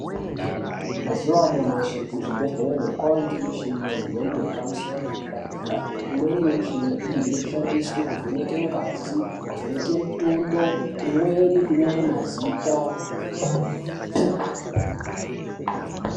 Mazuva anyamashi kuzvibhedhlera kwaane michini yemhando yepamusoro yedera dera imweni michini iyi inoshandiswa kuvheneka ngazi kuvheneka mutunda imweni kunyora mazita.